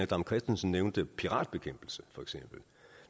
dam kristensen nævnte piratbekæmpelse for eksempel